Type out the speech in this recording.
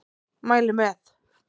Mæli með.